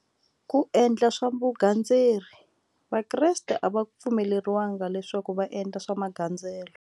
Ku endla swa vugandzeri vakreste a va pfumeleriwanga leswaku va endla swa magandzelo.